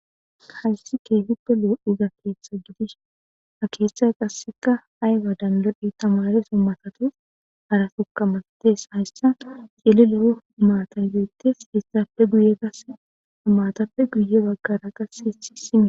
Hays keehippe lo'iza keethe gidishn ha keethay qaseka tamareso malat cililo matay betes hesappe guye qase matappe guye bagara qase.....